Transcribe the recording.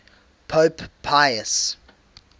pope pius